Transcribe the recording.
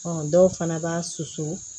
dɔw fana b'a susu